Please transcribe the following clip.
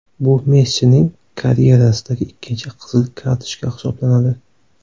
Bu Messining karyerasidagi ikkinchi qizil kartochka hisoblanadi .